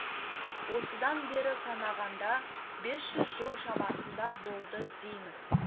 осыдан бері санағанда бес жүз жыл шамасында болды дейміз